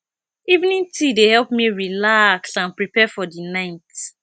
evening tea dey help me relax and prepare for the night